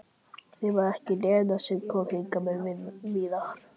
Því var það ekki Lena sem kom hingað með Viðar?